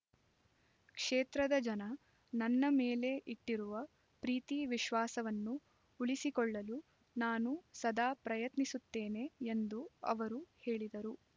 ಕ್ಷೇತ್ರದ ಜನ ನನ್ನ ಮೇಲೆ ಇಟ್ಟಿರುವ ಪ್ರೀತಿ ವಿಶ್ವಾಸವನ್ನು ಉಳಿಸಿಕೊಳ್ಳಲು ನಾನು ಸದಾ ಪ್ರಯತ್ನಿಸುತ್ತೇನೆ ಎಂದು ಅವರು ಹೇಳಿದರು